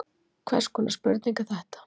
Hvers konar spurning er þetta?